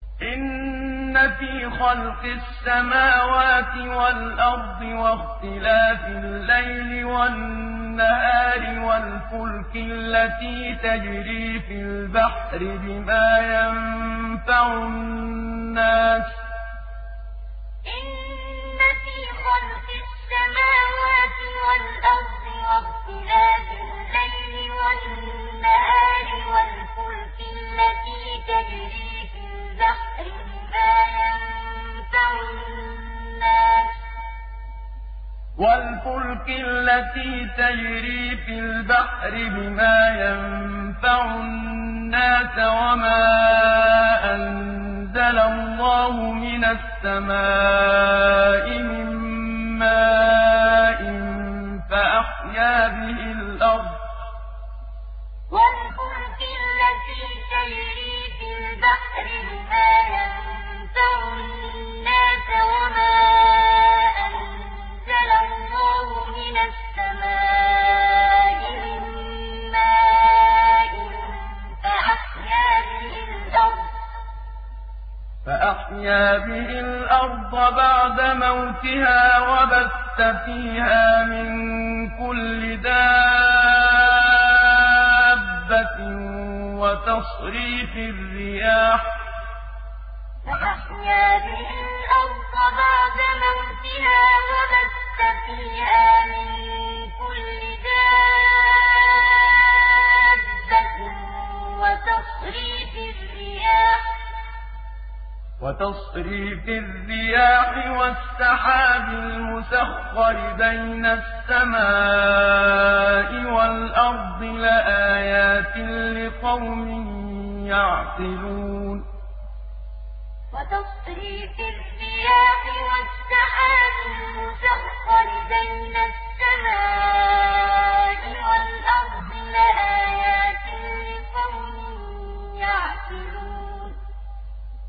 إِنَّ فِي خَلْقِ السَّمَاوَاتِ وَالْأَرْضِ وَاخْتِلَافِ اللَّيْلِ وَالنَّهَارِ وَالْفُلْكِ الَّتِي تَجْرِي فِي الْبَحْرِ بِمَا يَنفَعُ النَّاسَ وَمَا أَنزَلَ اللَّهُ مِنَ السَّمَاءِ مِن مَّاءٍ فَأَحْيَا بِهِ الْأَرْضَ بَعْدَ مَوْتِهَا وَبَثَّ فِيهَا مِن كُلِّ دَابَّةٍ وَتَصْرِيفِ الرِّيَاحِ وَالسَّحَابِ الْمُسَخَّرِ بَيْنَ السَّمَاءِ وَالْأَرْضِ لَآيَاتٍ لِّقَوْمٍ يَعْقِلُونَ إِنَّ فِي خَلْقِ السَّمَاوَاتِ وَالْأَرْضِ وَاخْتِلَافِ اللَّيْلِ وَالنَّهَارِ وَالْفُلْكِ الَّتِي تَجْرِي فِي الْبَحْرِ بِمَا يَنفَعُ النَّاسَ وَمَا أَنزَلَ اللَّهُ مِنَ السَّمَاءِ مِن مَّاءٍ فَأَحْيَا بِهِ الْأَرْضَ بَعْدَ مَوْتِهَا وَبَثَّ فِيهَا مِن كُلِّ دَابَّةٍ وَتَصْرِيفِ الرِّيَاحِ وَالسَّحَابِ الْمُسَخَّرِ بَيْنَ السَّمَاءِ وَالْأَرْضِ لَآيَاتٍ لِّقَوْمٍ يَعْقِلُونَ